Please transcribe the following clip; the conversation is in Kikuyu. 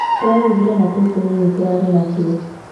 Tũrarugire na tũu tũnini turarĩ natuo